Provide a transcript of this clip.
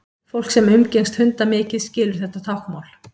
fólk sem umgengst hunda mikið skilur þetta táknmál